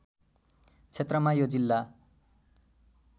क्षेत्रमा यो जिल्ला